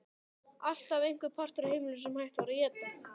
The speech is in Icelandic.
Alltaf einhver partur af heimilinu sem hægt var að éta.